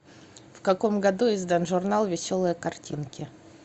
в каком году издан журнал веселые картинки